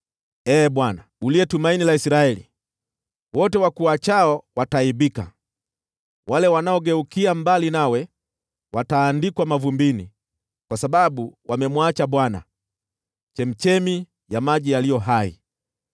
Ee Bwana , uliye tumaini la Israeli, wote wakuachao wataaibika. Wale wanaogeukia mbali nawe wataandikwa mavumbini kwa sababu wamemwacha Bwana , chemchemi ya maji yaliyo hai.